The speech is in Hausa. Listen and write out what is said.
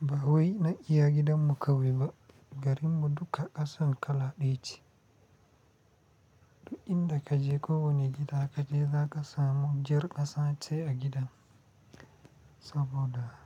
Ba wai na iya gidan mu kawai ba, garin mu duka ƙasan kala ɗaya ce. Duk inda ka je ko wani gida ka je, za ka samu jar ƙasa ce a gidan, saboda.